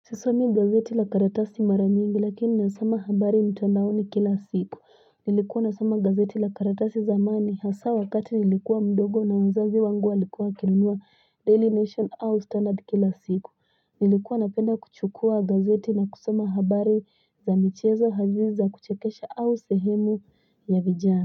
Sisomi gazeti lakaratasi mara nyingi lakini na soma habari mtandaoni kila siku. Nilikuwa na soma gazeti lakaratasi zamani hasa wakati nilikuwa mdogo na wazazi wangu walikuwa wakinunua Daily Nation au standard kila siku. Nilikuwa na penda kuchukua gazeti na kusoma habari za michezo hasa za kuchekesha au sehemu ya vijana.